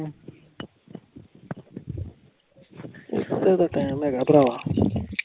ਏਡਾ ਟਾਈਮ ਹਾਇਗਾ ਪ੍ਰਾਹ